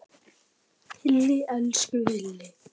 Hilli, elsku Hilli!